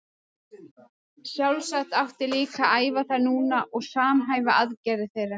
Sjálfsagt átti líka að æfa þær núna og samhæfa aðgerðir þeirra.